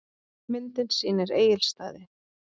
Myndin sýnir Egilsstaði.